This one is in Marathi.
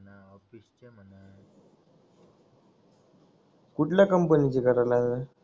कुठल्या कंपनीचे करायला लागलंय